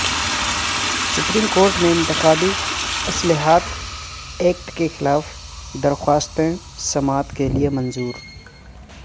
supreme court میں انتخابی اصلاحات ایکٹ کیخلاف درخواستیں سماعت کیلئے منظور